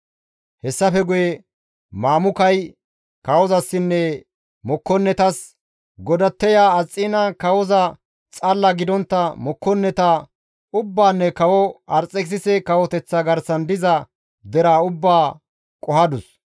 Hessafe guye Mamukay kawozasinne mokkonnetas, «Godatteya Asxiina kawoza xalla gidontta mokkonneta ubbaanne kawo Arxekisise kawoteththa garsan diza deraa ubbaa qohadus.